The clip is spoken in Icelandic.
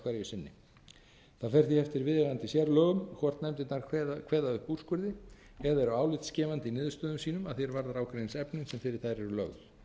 sinni það fer því eftir viðeigandi sérlögum hvort nefndirnar kveða upp úrskurði eða eru álitsgefandi í niðurstöðum sínum að því er varðar ágreiningsefni sem fyrir þær eru lögð